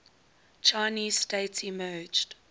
chinese state emerged